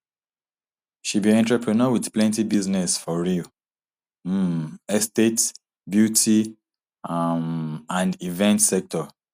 she be entrepreneur wit plenty business for real um estate beauty um and event sector